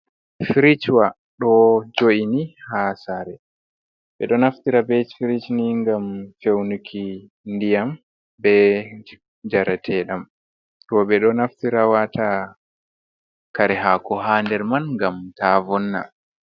Firiswa ɗo jo'ini haa sare, ɓe ɗo naftira be firij ni ngam feunuki ndiyam be jareteɗam, roobe ɗo naftira wata kare haako haa nder man ngam ta vonna.